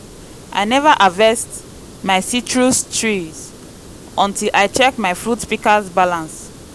i neva harvest my citrus trees until i check my fruit pika balance